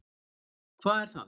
Hvað er það?